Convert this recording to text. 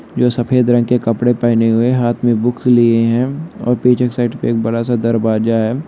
जो सफेद रंग के कपड़े पहने हुए है हाथ मे बुक लिए हुए है और पीछे एक साइड पे बड़ा सा दरवाजा है।